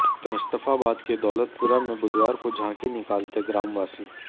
मुस्तफाबाद के दौलतपुरा में बुधवार को झांकी निकालते ग्रामवासी